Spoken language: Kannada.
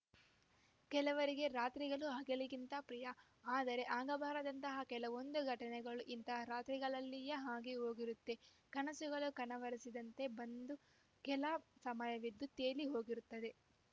ಕೆಲವರಿಗೆ ರಾತ್ರಿಗಳು ಹಗಲಿಗಿಂತ ಪ್ರಿಯ ಆದರೆ ಆಗಬಾರದಂತಹ ಕೆಲವೊಂದು ಘಟನೆಗಳು ಇಂತಹ ರಾತ್ರಿಗಳಲ್ಲಿಯೇ ಆಗಿ ಹೋಗಿರುತ್ತೆ ಕನಸುಗಳು ಕನವರಿಸಿದಂತೆ ಬಂದು ಕೆಲ ಸಮಯವಿದ್ದು ತೇಲಿ ಹೋಗಿರುತ್ತದೆ